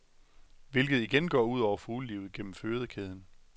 Hvilket igen går ud over fuglelivet gennem fødekæden.